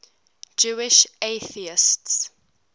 jewish atheists